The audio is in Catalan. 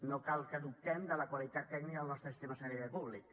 no cal que dubtem de la qualitat tècnica del nostre sistema sanitari públic